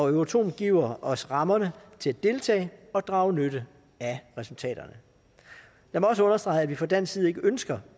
euratom giver os rammerne til at deltage og drage nytte af resultaterne jeg må også understrege at vi fra dansk side ikke ønsker